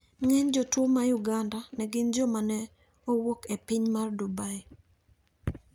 Ng`eny jotuo ma Uganda ne gin joma ne ouk e piny mar Dubai.